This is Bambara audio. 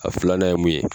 A filanan ye mun ye